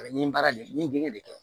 A bɛ nin baara de kɛ